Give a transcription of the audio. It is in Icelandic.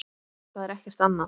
Það er ekkert annað.